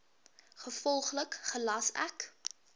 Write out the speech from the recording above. gevolglik gelas ek